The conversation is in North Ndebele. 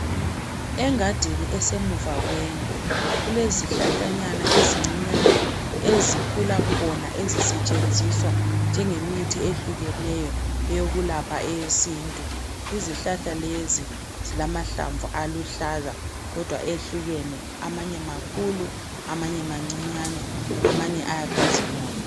Engadini esemuva kwendlu kulezihlahlanyana ezincinyane ezikhula khona ezisetshenziswa njengemithi ehlukeneyo eyokulapha eyesintu izihlahla lezi zilamahlamvu aluhlaza kodwa ehlukene amanye makhulu ,amanye mancinyane amanye ayakhazimula.